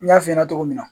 N y'a f'i ɲɛna cogo min na